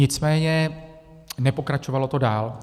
Nicméně nepokračovalo to dál.